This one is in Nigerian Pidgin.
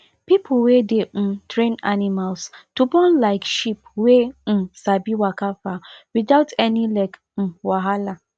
people wey dey um train animals to born like sheep wey um sabi waka far without any leg um wahala